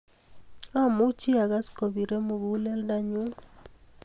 amuji a kass kopire muguleldo ne ng'un